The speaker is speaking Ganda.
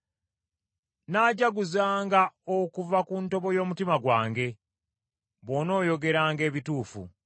Nnaajjaguzanga okuva ku ntobo y’omutima gwange, bw’onooyogeranga ebituufu.